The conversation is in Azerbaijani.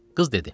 Qız dedi.